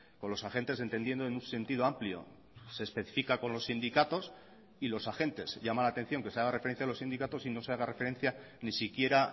con los agentes entendiendo en un sentido amplio se especifica con los sindicatos y los agentes llama la atención que se haga referencia a los sindicatos y no se haga referencia ni siquiera